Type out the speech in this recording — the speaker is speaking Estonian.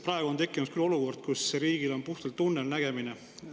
Praegu on küll tekkinud olukord, kus riigil on puhtalt tunnelnägemine.